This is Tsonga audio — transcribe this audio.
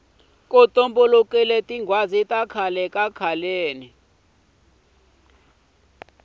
ku tumbuluke tinghwazi khale kakhaleni